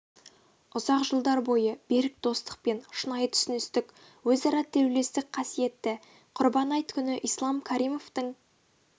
ұзақ жылдар бойы берік достық пен шынайы түсіністік өзара тілеулестік қасиетті құрбан айт күні ислам каримовтің